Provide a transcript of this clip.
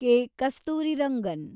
K. Kasturirangan